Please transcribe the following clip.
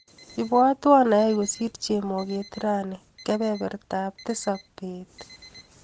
Ibwatwa ayai kosir chemoget rani kebebertap tisap bet.